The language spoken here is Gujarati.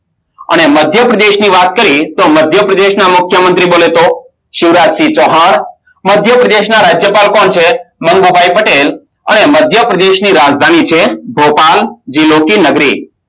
અને મધ્યપ્રદેશની વાત કરીયે તો મધ્યપ્રદેશના મુખ્યમંત્રી બોલે તો શિવરાજ ચૌહાણ મધ્યપ્રદેશના રાજ્યપાલ કોણ છે મનમોહક પટેલ અને મધ્યપ્રદેશની રાજધાની છે ભોપાલ જીલોકી નગરી